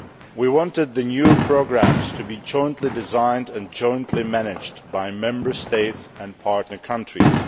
We wanted the new programmes to be jointly designed and jointly managed by Member States and partner countries.